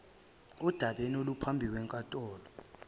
odabeni oluphambi kwenkantolo